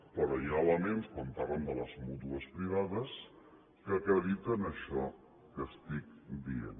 però hi ha elements quan parlen de les mútues privades que acrediten això que estic dient